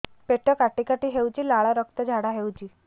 ପେଟ କାଟି କାଟି ହେଉଛି ଲାଳ ରକ୍ତ ଝାଡା ହେଉଛି